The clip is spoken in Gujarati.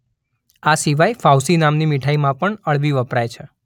આ સિવાય ફાઉસી નામની મીઠાઈમાં પણ અળવી વપરાય છે.